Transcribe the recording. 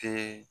Te